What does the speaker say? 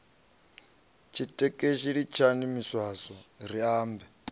tshitekeshi litshani miswaswo ri ambe